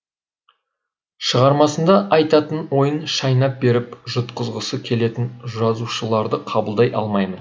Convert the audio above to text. шығармасында айтатын ойын шайнап беріп жұтқызғысы келетін жазушыларды қабылдай алмаймын